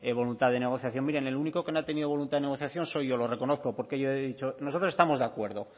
voluntad de negociación miren el único que no ha tenido voluntad de negociación soy yo lo reconozco porque yo he dicho nosotros estamos de acuerdo